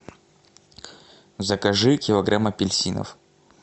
закажи килограмм апельсинов